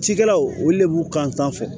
Cikɛlaw olu de b'u kan sanfɛ